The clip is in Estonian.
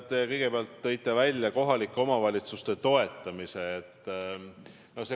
Te kõigepealt tõite välja kohalike omavalitsuste toetamise.